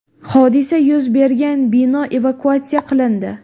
Hodisa yuz bergan bino evakuatsiya qilindi.